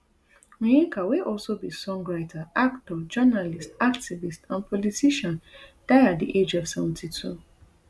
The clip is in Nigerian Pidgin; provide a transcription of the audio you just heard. onyeka wey also be songwriter actor journalist activist and politiciandie at di age of seventy-two